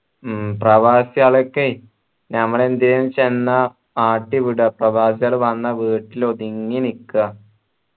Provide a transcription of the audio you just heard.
ഉം പ്രവാസികൾക്കെ ഞമ്മള് എന്തെയു എന്ന് വെച്ച എന്ന ആട്ടി വിട ഇപ്പൊ പ്രവാസികൾ വന്ന വീട്ടില് ഒതുങ്ങി നിക്ക